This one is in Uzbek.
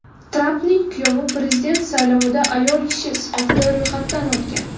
Trampning kuyovi prezident saylovida ayol kishi sifatida ro‘yxatdan o‘tgan.